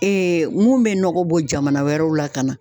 mun bɛ nɔgɔ bɔ jamana wɛrɛw la ka na.